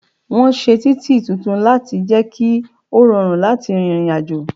Wọn ṣe títì tuntun láti jẹ ki ó rọrùn láti rìnrìn àjò